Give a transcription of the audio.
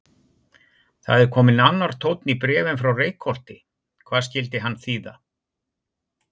Það er kominn annar tónn í bréfin frá Reykholti, hvað skyldi hann þýða?